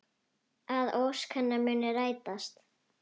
Að ósk hennar muni rætast.